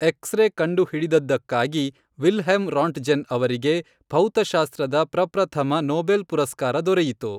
x ray ಕಂಡುಹಿಡಿದದ್ದಕ್ಕಾಗಿ Wilhelm Roentgen ಅವರಿಗೆ ಭೌತಶಾಸ್ತ್ರದ ಪ್ರಪ್ರಥಮ ನೊಬೆಲ್ ಪುರಸ್ಕಾರ ದೊರೆಯಿತು